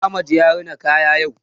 Ahmad ya rina kaya yau.